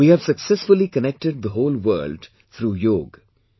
We have successfully connected the whole world through Yoga